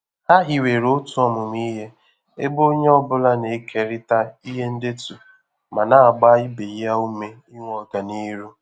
Ha hiwere otu ọmụmụ ihe ebe onye ọ bụla na-ekerịta ihe ndetu ma na-agba ibe ya ume inwe ọganihu.